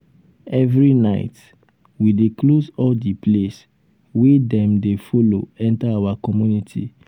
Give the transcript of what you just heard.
every night we dey close all um di place wey um dem dey folo enta our community.